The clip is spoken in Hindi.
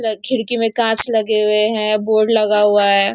खिड़की में कांच लगा हुए है बोर्ड लगा हुआ हैं।